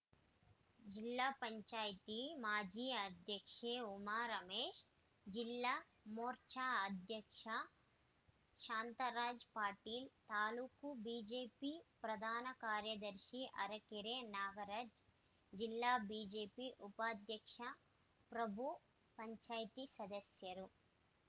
ಜಿಲ್ಲಾ ಪಂಚಾಯತಿ ಮಾಜಿ ಅಧ್ಯಕ್ಷೆ ಉಮಾ ರಮೇಶ್‌ ಜಿಲ್ಲಾ ಮೋರ್ಚಾ ಅಧ್ಯಕ್ಷ ಶಾಂತರಾಜ್‌ ಪಾಟೀಲ್‌ ತಾಲೂಕು ಬಿಜೆಪಿ ಪ್ರಧಾನ ಕಾರ್ಯದರ್ಶಿ ಅರೆಕೆರೆ ನಾಗರಾಜ್‌ ಜಿಲ್ಲಾ ಬಿಜೆಪಿ ಉಪಾಧ್ಯಕ್ಷ ಪ್ರಭು ಪಂಚಾಯತಿ ಸದಸ್ಯರು